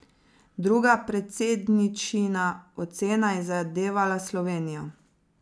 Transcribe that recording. Druga predsedničina ocena je zadevala Slovenijo.